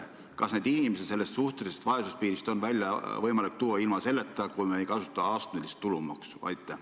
Kas neid inimesi on võimalik suhtelisest vaesusest välja tuua ilma astmelist tulumaksu kehtestamata?